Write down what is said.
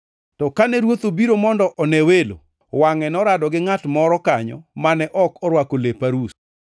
“To kane ruoth obiro mondo one welo, wangʼe norado gi ngʼat moro kanyo mane ok orwako lep arus.